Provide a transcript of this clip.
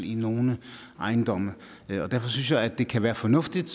i nogle ejendomme derfor synes jeg det kan være fornuftigt